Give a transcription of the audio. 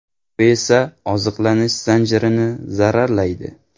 Bu esa oziqlanish zanjirini zararlaydi.